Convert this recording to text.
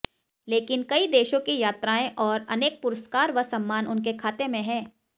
लेकिन कई देशों की यात्राएं और अनेक पुरस्कार व सम्मान उनके खाते में हैं